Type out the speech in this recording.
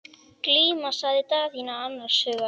Glíma, sagði Daðína annars hugar.